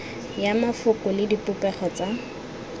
ya mafoko le dipopego tsa